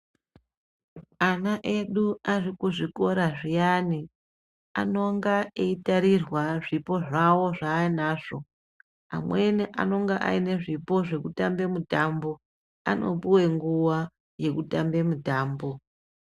Ana edu arikuzvikora zviyani anonga eitarirwa zvipo zvawo zvainazvo, amweni anonga ainezvipo zvekutambe mitambo anopuwe nguwa yekutambe mitambo.